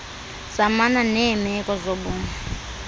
zamana neerneko zoborni